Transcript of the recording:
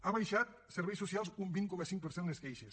ha baixat en serveis socials un vint coma cinc per cent les queixes